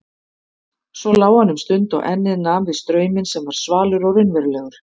Svo lá hann um stund og ennið nam við strauminn sem var svalur og raunverulegur.